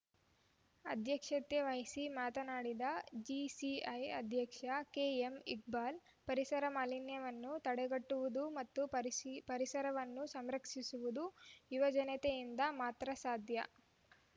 ಅಧ್ಯಕ್ಷತೆ ವಹಿಸಿ ಮಾತನಾಡಿದ ಜೆಸಿಐ ಅಧ್ಯಕ್ಷ ಕೆಎಂಇಕ್ಬಾಲ್‌ ಪರಿಸರ ಮಾಲಿನ್ಯವನ್ನು ತಡೆಗಟ್ಟುವುದು ಮತ್ತು ಪರಿಸರವನ್ನು ಸಂರಕ್ಷಿಸುವುದು ಯುವಜನತೆಯಿಂದ ಮಾತ್ರ ಸಾಧ್ಯ